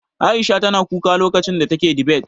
Aisha tana kuka lokacin da take dibet.